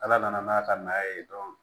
Ala nana n'a ka na ye dɔrɔn